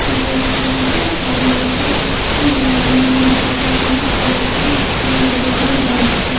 ये एक जगा है और यह पे एक ज्ञानी लिखा हुआ है और यहा पे तिन बड़े बड़े लाइट्स है।